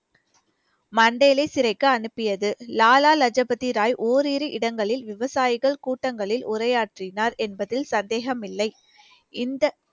மண்டேலே சிறைக்கு அனுப்பியது லாலா லஜு பதி ராய் ஓரிரு இடங்களில் விவசாயிகள் கூட்டங்களில் உரையாற்றினார் என்பதில் சந்தேகமில்லை இந்த